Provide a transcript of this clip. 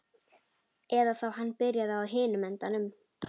Eða þá hann byrjaði á hinum endanum.